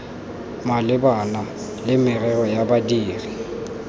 malebana le merero ya badiri